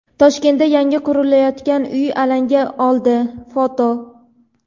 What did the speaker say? Toshkentda yangi qurilayotgan uy alanga oldi (foto).